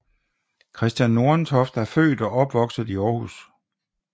Kristian Nordentoft er født og opvokset i Aarhus